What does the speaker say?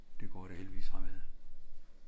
Det går da heldigvis fremad